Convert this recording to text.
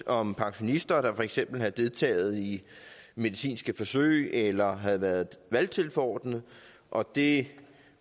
om pensionister der havde deltaget i medicinske forsøg eller havde været valgtilforordnede og de